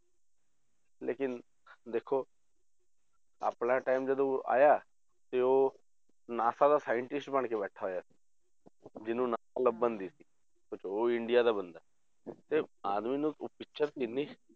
ਲੇਕਿੰਨ ਦੇਖੋ ਆਪਣਾ time ਜਦੋਂ ਆਇਆ ਤੇ ਉਹ ਨਾਸਾ ਦਾ scientist ਬਣਕੇ ਬੈਠਾ ਹੋਇਆ ਜਿਹਨੂੰ ਨਾਂ ਲੱਭਣ ਦੀ ਸੀ, ਤੇ ਉਹ ਇੰਡੀਆ ਦਾ ਬੰਦਾ ਹੈ ਤੇ ਆਦਮੀ ਨੂੰ ਪਿਕਚਰ ਇੰਨੀ